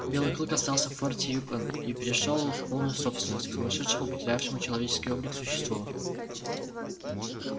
белый клык остался в форте юкон и перешёл в полную собственность к сумасшедшему потерявшему человеческий облик существу